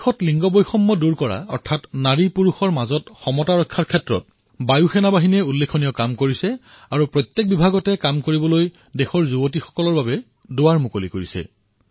দেশত লিংগ সমতা অৰ্থাৎ স্ত্ৰী পুৰুষৰ সমতা সুনিশ্চিত কৰাৰ বাবে বায়ুসেনাই এক অনন্য উদাহৰণ দাঙি ধৰিছে আৰু নিজৰ বিভাগৰ প্ৰত্যেকখন দুৱাৰ দেশৰ কন্যাসকলৰ বাবে মুকলি কৰি দিছে